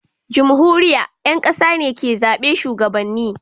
jumhuriya, ƴan ƙasa ne ke zaɓe shugabanni